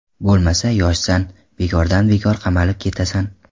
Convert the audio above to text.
Bo‘lmasa, yoshsan, bekordan bekor qamalib ketasan.